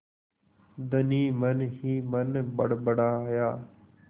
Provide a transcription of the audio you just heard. धनी मनहीमन बड़बड़ाया